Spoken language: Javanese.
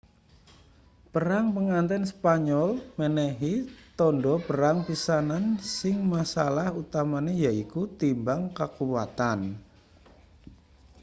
perang pangganten spanyol menehi tandha perang pisanan sing masalah utamane yaiku timbang kakuwatan